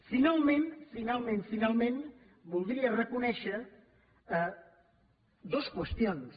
finalment finalment finalment voldria reconèixer dues qüestions